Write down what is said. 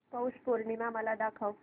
पौष पौर्णिमा मला दाखव